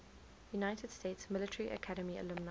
united states military academy alumni